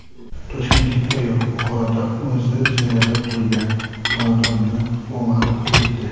Toshkentlik ayol Buxoroda o‘zi ijarada turgan xonadonni o‘marib ketdi.